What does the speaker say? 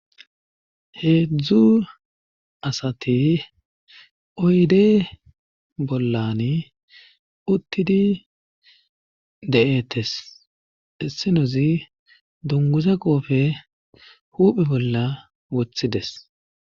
heedzdzu asati oyde bollan uttidi de7ettes essenozi dunguza qoofe huphe bolla wothides